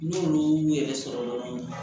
N'olu y'u yɛrɛ sɔrɔ yɔrɔ mun na